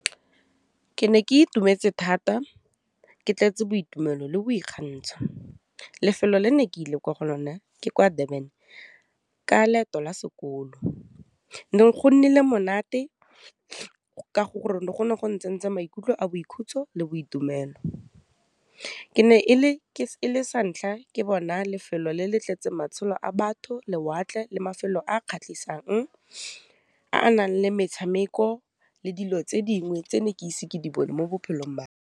Ke ne ke itumetse thata ke tletse boitumelo le boikgantsho. Lefelo le ne ke ile kwa go lona ke kwa Durban ka leeto la sekolo, ne go nnile monate ka gore le go ne go na tsentse maikutlo a boikhutso le boitumelo. Ke ne e le santlha ke bona lefelo le le tletse matshelo a batho, lewatle le mafelo a kgatlhisang a nang le metshameko, le dilo tse dingwe tse ne ke ise ke di bone mo bophelong .